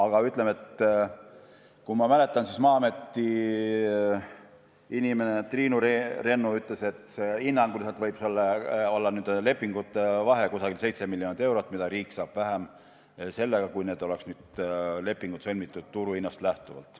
Kui ma õigesti mäletan, siis Maa-ameti esindaja Triinu Rennu on öelnud, et hinnanguliselt võib olla nende lepingute puhul vahe umbes 7 miljonit eurot, mis riik saab vähem võrreldes sellega, kui need lepingud oleks sõlmitud turuhinnast lähtuvalt.